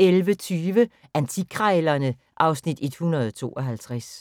11:20: Antikkrejlerne (Afs. 152)